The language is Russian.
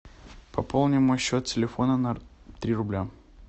пополни мой счет телефона на три рубля